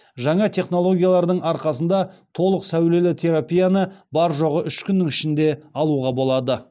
жаңа технологиялардың арқасында толық сәулелі терапияны бар жоғы үш күннің ішінде алуға болады